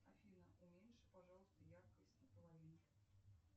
афина уменьши пожалуйста яркость наполовину